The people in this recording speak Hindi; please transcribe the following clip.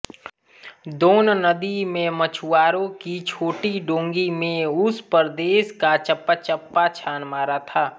दोन नदी में मछुआरों की छोटी डोंगी में उस प्रदेश का चप्पाचप्पा छान मारा था